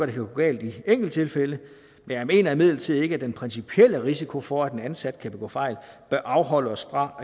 det kan gå galt i enkelttilfælde men jeg mener imidlertid ikke at den principielle risiko for at en ansat kan begå fejl bør afholde os fra